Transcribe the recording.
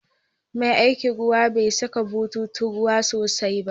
Mai aikin ruwan bai saka bututun ruwan sosai ba.